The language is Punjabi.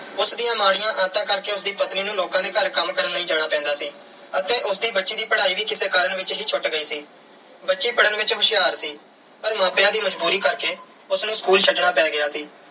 ਉਸ ਦੀਆਂ ਮਾੜੀਆਂ ਆਦਤਾਂ ਕਰਕੇ ਉਸ ਦੀ ਪਤਨੀ ਨੂੰ ਲੋਕਾਂ ਦੇ ਘਰ ਕੰਮ ਕਰਨ ਲਈ ਜਾਣਾ ਪੈਂਦਾ ਸੀ ਅਤੇ ਉਸ ਦੀ ਬੱਚੀ ਦੀ ਪੜ੍ਹਾਈ ਵੀ ਕਿਸੇ ਕਾਰਨ ਵਿੱਚ ਹੀ ਛੁੱਟ ਗਈ ਸੀ। ਬੱਚੀ ਪੜ੍ਹਨ ਵਿੱਚ ਹੁਸ਼ਿਆਰ ਸੀ ਪਰ ਮਾਪਿਆਂ ਦੀ ਮਜ਼ਬੂਰੀ ਕਰਕੇ ਉਸ ਨੂੰ school ਛੱਡਣਾ ਪੈ ਗਿਆ ਸੀ।